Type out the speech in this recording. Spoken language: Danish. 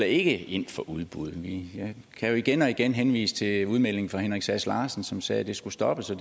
ikke ind for udbud jeg kan jo igen og igen henvise til udmeldingen fra henrik sass larsen som sagde at det skulle stoppes og